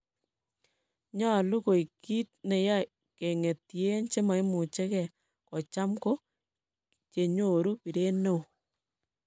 Nyale koegh kiit neyae keng'etien: chemaimuche geh kocham ko chenyoru biret neooh